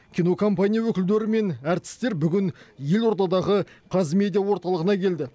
кинокомпания өкілдері мен әртістер бүгін елордадағы қазмедиа орталығына келді